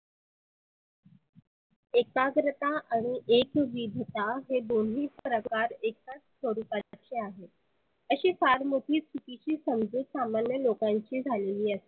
एकाग्रता आणि एकविधता हे दोन्ही प्रकार एकाच स्वरुपाचे आहे. आशी फार मोठी चुकीची समजुत सामान्य लोकांची झालेली असते.